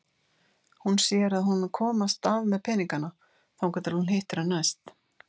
Hún sér að hún mun komast af með peningana þangað til hún hittir hann næst.